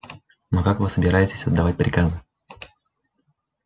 но как вы собираетесь отдавать приказы